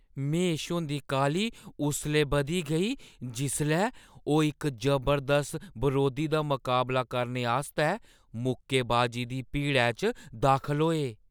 महेश हुंदी काह्‌ली उसलै बधी गेई जिसलै ओह् इक जबरदस्त बरोधी दा मकाबला करने आस्तै मुक्केबाजी दे भिड़ै च दाखल होए।